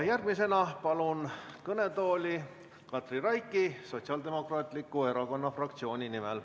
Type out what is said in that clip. Järgmisena palun kõnetooli Katri Raiki kõnelema Sotsiaaldemokraatliku Erakonna fraktsiooni nimel.